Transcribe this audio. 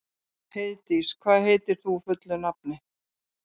Heiðdís, hvað heitir þú fullu nafni?